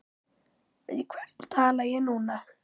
Við hvern tala ég núna?